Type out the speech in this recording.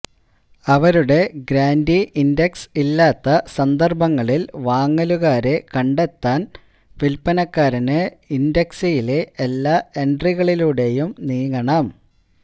അവരുടെ ഗ്രാന്റി ഇന്ഡക്സ് ഇല്ലാത്ത സന്ദര്ഭങ്ങളില് വാങ്ങലുകാരെ കണ്ടെത്താന് വില്പ്പനക്കാരന് ഇന്ഡക്സിയിലെ എല്ലാ എന്ട്രികളിലൂടെയും നീങ്ങണം